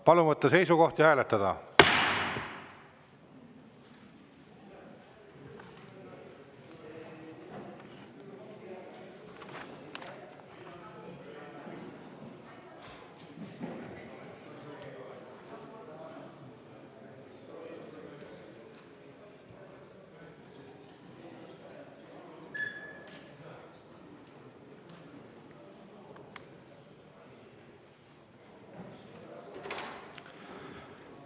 Palun võtta seisukoht ja hääletada!